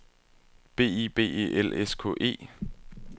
B I B E L S K E